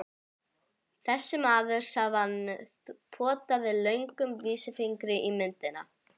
Þessi maður, sagði hann og potaði löngum vísifingri í myndina.